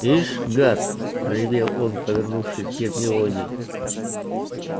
ишь гад проревел он повернувшись к гермионе